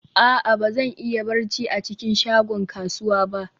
a'a, ba zan iya barci a cikin shagon kasuwa ba